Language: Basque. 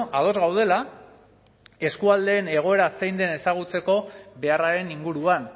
ados gaudela eskualdeen egoera zein den ezagutzeko beharraren inguruan